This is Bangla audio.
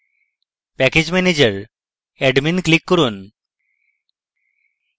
package manager admin ক্লিক করুন